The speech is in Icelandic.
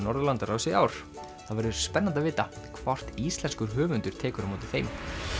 Norðurlandaráðs í ár það verður spennandi að vita hvort íslenskur höfundur tekur á móti þeim